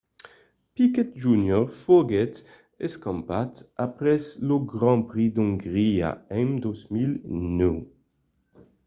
piquet jr. foguèt escampat après lo grand prix d'ongria en 2009